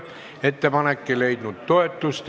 Ettepanek ei leidnud toetust.